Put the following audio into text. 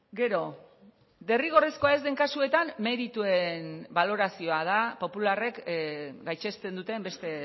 gero derrigorrezkoa ez den kasuetan merituen balorazioa da popularrek gaitzesten duten beste